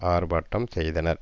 ஆர்ப்பாட்டம் செய்தனர்